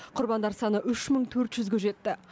құрбандар саны үш мың төрт жүзге жетті